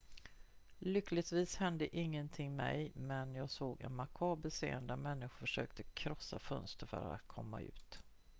"""lyckligtvis hände ingenting mig men jag såg en makaber scen när människor försökte krossa fönster för att komma ut.